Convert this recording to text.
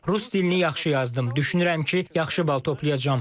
Rus dilini yaxşı yazdım, düşünürəm ki, yaxşı bal toplayacam.